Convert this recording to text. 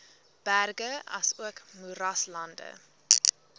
berge asook moeraslande